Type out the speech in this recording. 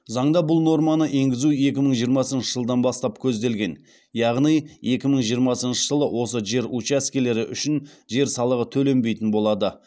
заңда бұл норманы енгізу екі мың жиырмасыншы жылдан бастап көзделген яғни екі мың жиырмасыншы жылы осы жер учаскелері үшін жер салығы төленбейтін болады